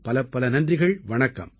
பலப்பல நன்றிகள் வணக்கம்